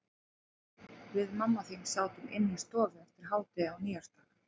Við mamma þín sátum inni í stofu eftir hádegi á nýársdag.